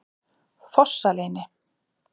Fossaleyni